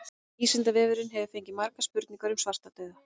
Vísindavefurinn hefur fengið margar spurningar um svartadauða.